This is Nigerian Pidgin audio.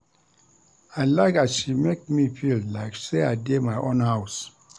I like as she make me feel like sey I dey my own house.